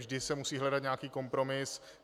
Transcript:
Vždy se musí hledat nějaký kompromis.